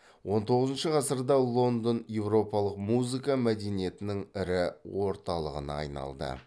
он тоғызыншы ғасырда лондон еуропалық музыка мәдениетінің ірі орталығына айналды